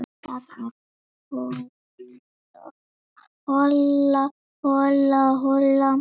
Það er hola, hola, hola.